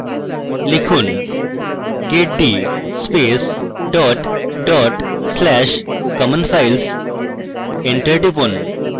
লিখুন: get d space dot dot slash common files enter টিপুন